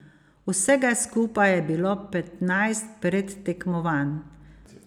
Vsega skupaj je bilo petnajst predtekmovanj.